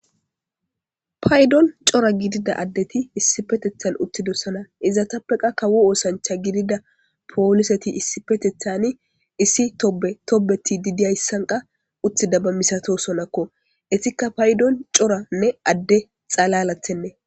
Paydon cora gidida addeti issi petethan uttidossana izatappeqa kawo oosancha gidida pooliseti issipetethani issi tobe tobeti didiyayssanqa uttida ba misato sonakko etikka paydon coranne adde xalalathenne.